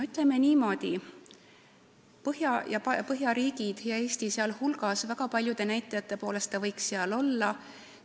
Ütleme niimoodi, Eesti võiks väga paljude näitajate poolest Põhjamaade hulgas olla.